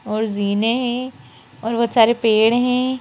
और जीने है और बहोत सारे पेड़ है।